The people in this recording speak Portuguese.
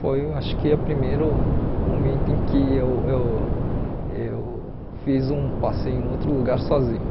Foi acho que o primeiro momento em que eu eu eu fiz um passeio em outro lugar sozinho.